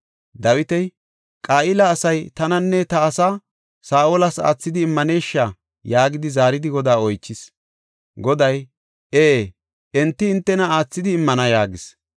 Dawiti, “Qa7ila asay tananne ta asaa Saa7olas aathidi immanesha?” yaagidi zaaridi Godaa oychis. Goday, “Ee; enti hintena aathidi immana” yaagis.